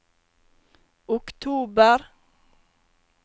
oktober